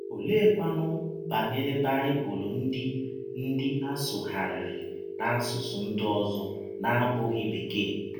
Ọleekwanụ banyere Baịbụl ndị ndị a sụgharịrị n’asụsụ ndị ọzọ na - abụghị Bekee?